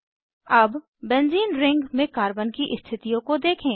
अब benzene ring benzene ring में carbon की स्थितियों को देखें